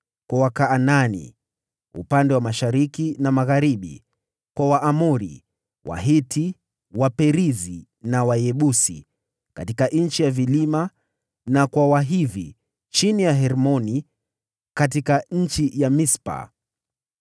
kwa Wakanaani upande wa mashariki na magharibi; kwa Waamori, Wahiti, Waperizi na Wayebusi katika nchi ya vilima; na kwa Wahivi chini ya Hermoni katika eneo ya Mispa.